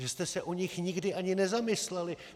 Že jste se o nich nikdy ani nezamysleli.